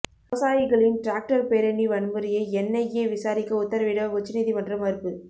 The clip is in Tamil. விவசாயிகளின் டிராக்டர் பேரணி வன்முறையை என்ஐஏ விசாரிக்க உத்தரவிட உச்சநீதிமன்றம் மறுப்பு